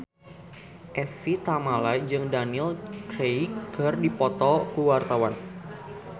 Evie Tamala jeung Daniel Craig keur dipoto ku wartawan